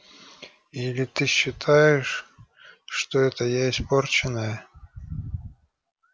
или ты считаешь что это я испорченная